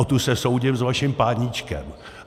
O tu se soudím s vaším páníčkem.